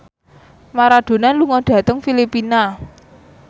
Maradona lunga dhateng Filipina